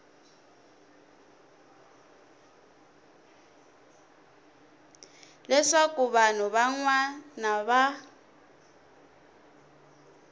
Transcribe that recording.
leswaku vanhu van wana va